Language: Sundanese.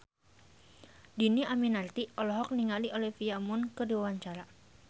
Dhini Aminarti olohok ningali Olivia Munn keur diwawancara